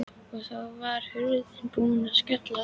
Og þá var hurðin búin að skellast aftur.